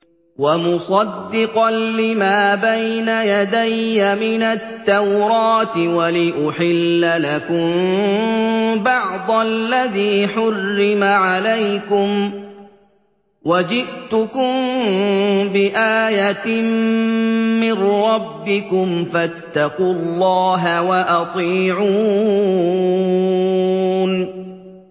وَمُصَدِّقًا لِّمَا بَيْنَ يَدَيَّ مِنَ التَّوْرَاةِ وَلِأُحِلَّ لَكُم بَعْضَ الَّذِي حُرِّمَ عَلَيْكُمْ ۚ وَجِئْتُكُم بِآيَةٍ مِّن رَّبِّكُمْ فَاتَّقُوا اللَّهَ وَأَطِيعُونِ